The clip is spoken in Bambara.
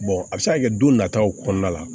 a bɛ se ka kɛ don nataw kɔnɔna la